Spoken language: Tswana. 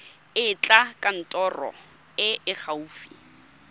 etela kantoro e e gaufi